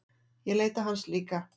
Ég leita hans líka.